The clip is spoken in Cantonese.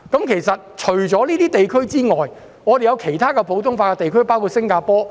其實，除了這些地區，還有其他普通法地區，包括新加坡。